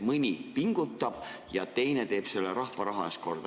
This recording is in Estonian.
Mõni pingutab, aga teine teeb rahva raha eest korda.